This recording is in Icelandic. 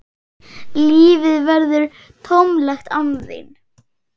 Lífið verður tómlegt án þín.